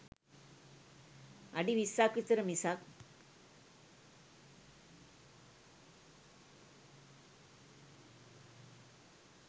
අඩි විස්සක් විතර මිසක්